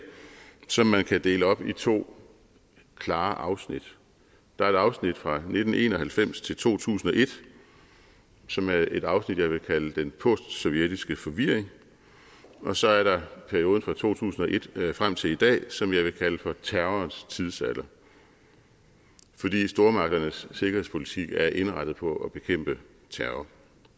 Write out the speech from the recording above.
som man kan dele op i to klare afsnit der er et afsnit fra nitten en og halvfems til to tusind og et som er et afsnit jeg vil kalde den postsovjetiske forvirring og så er der perioden fra to tusind og et frem til i dag som jeg vil kalde for terrorens tidsalder fordi stormagternes sikkerhedspolitik er indrettet på at bekæmpe terror